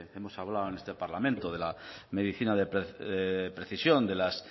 hemos hablado en este parlamento de la medicina de precisión de las